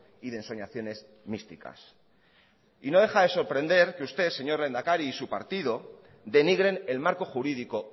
y de ensoñaciones místicas y no deja de sorprender que usted señor lehendakari y su partido denigren el marco jurídico